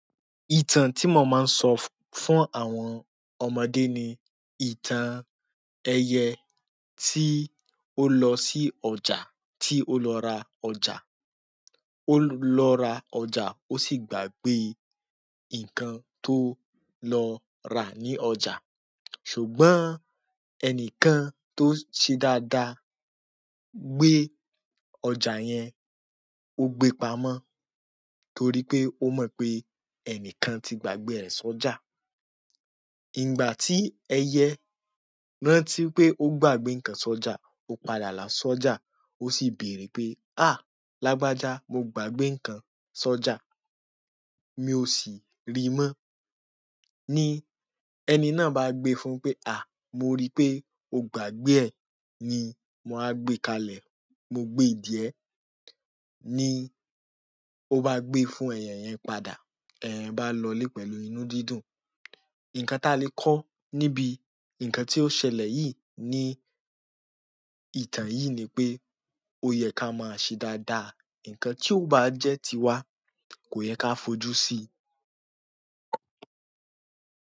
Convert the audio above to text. Ìtàn tí mo máa ń sọ fún àwọn ọmọdé ni ìtàn ẹyẹ tí ó lọ sí ọjà, tí ó lọ ra ọjà. Ó lọ ra ọjà, ó sì gbàgbe nǹkan tó lọ rà ní ọjà. Ṣùgbọ́n ẹnìkan tó ṣe dáadáa gbe ọjà yẹn, ó gbe pamọ́ torí pé ó mọ pé ẹnìkan ti gbàgbé rẹ̀ sọ́jà. Ìgbà tí ẹyẹ rántí pé ó gbàgbé nǹkan sọ́jà, ó padà là sọ́jà, ó sì béèrè pé, "àh! Lágbájá, mo gbàgbé nǹkan sọ́jà, mi ò sì ri mọ́." Ni ẹni náà bá gbe fún un pé, "àh! Mo rí i pé o gbàgbé ẹ̀, ni mo á gbé kalẹ̀, mo gbe jí ẹ̀." ni ọ ba gbé fún ẹyẹ yẹn padà, ba lọ le pẹ̀lú inú dùn dùn ǹkan ta lè kọ níbi nǹkan tí ó ṣẹlẹ̀ yìí ni ìtàn yìí ni pé ó yẹ ká máa ṣe dáadáa. Ǹkan tí ó bá jẹ́ ti wa kò yẹ ká fojú sí i.